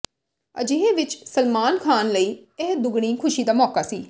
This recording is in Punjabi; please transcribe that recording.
ਅਜਿਹੇ ਵਿਚ ਸਲਮਾਨ ਖ਼ਾਨ ਲਈ ਇਹ ਦੁਗਣੀ ਖੁਸ਼ੀ ਦਾ ਮੌਕਾ ਸੀ